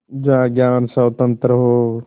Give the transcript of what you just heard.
जहाँ ज्ञान स्वतन्त्र हो